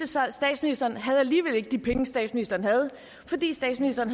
sig at statsministeren alligevel ikke havde de penge statsministeren havde fordi statsministeren